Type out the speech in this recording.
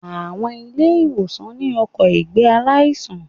Àwọn ilé ìwòsàn ní ọkò ìgbé aláìsàn